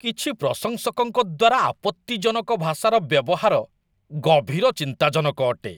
କିଛି ପ୍ରଶଂସକଙ୍କ ଦ୍ୱାରା ଆପତ୍ତିଜନକ ଭାଷାର ବ୍ୟବହାର ଗଭୀର ଚିନ୍ତାଜନକ ଅଟେ।